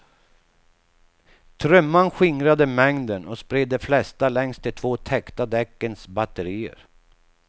Trumman skingrade mängden och spred de flesta längs de två täckta däckens batterier.